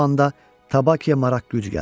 Bu anda Tabakiya maraq gücü gəldi.